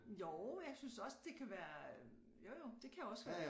Jo jeg synes også det kan være jo jo det kan også være